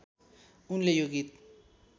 उनले यो गीत